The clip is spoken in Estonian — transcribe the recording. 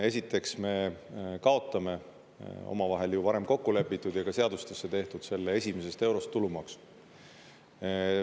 Esiteks me kaotame omavahel ju varem kokku lepitud ja ka seadustesse tehtud selle esimesest eurost tulumaksu.